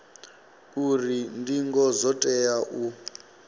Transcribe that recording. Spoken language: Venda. uri ndingo dzo tea u